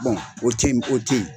o t'in o ten ye.